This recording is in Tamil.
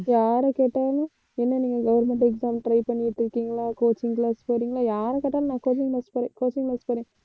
யார கேட்டாலும் என்ன நீங்க government exam try பண்ணிட்டு இருக்கீங்களா coaching class போறீங்களா யார கேட்டாலும் நான் coaching class போறேன் coaching class போறேன்.